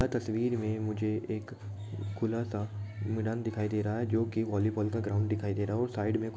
तस्वीर मे मुझे एक खुला सा मैदान दिखाई दे रहा है जो कि वॉलीबॉल का ग्राउंड दिखाई दे रहा है और साइड मे ---